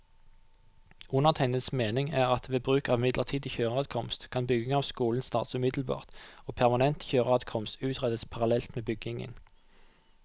Undertegnedes mening er at ved bruk av midlertidig kjøreadkomst, kan bygging av skolen starte umiddelbart og permanent kjøreadkomst utredes parallelt med byggingen.